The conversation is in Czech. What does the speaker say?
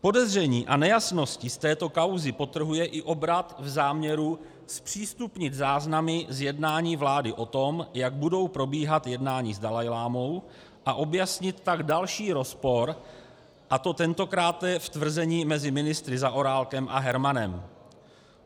Podezření a nejasnosti z této kauzy podtrhuje i obrat v záměru zpřístupnit záznamy z jednání vlády o tom, jak budou probíhat jednání s dalajlámou, a objasnit pak další rozpor, a to tentokráte v tvrzení mezi ministry Zaorálkem a Hermanem.